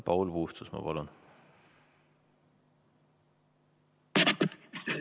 Paul Puustusmaa, palun!